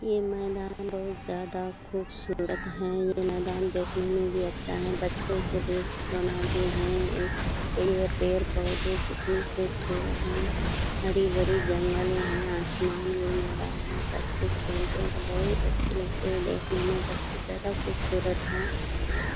ये मैदान बहोत ज्यादा खूबसूरत हैं। ये मैदान देखने में भी अच्छा है। बच्चों के लिए खिलौना भी हैं एक पेड़ पेड़-पौधे कितने खूबसूरत हैं हरे-भरे जंगल हैं आसमान भी नीला है बच्चे खेलते हैं तो बहोत अच्छे लगते हैं देखने में बहोत ज्यादा खूबसूरत है।